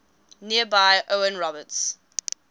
nearby owen roberts